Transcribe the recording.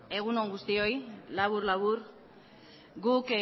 egun on guztioi labur labur guk